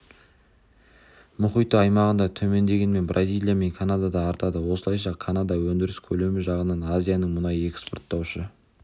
мұхиты аймағында төмендегенімен бразилия мен канадада артады осылайша канада өндіріс көлемі жағынан азияның мұнай экспорттаушы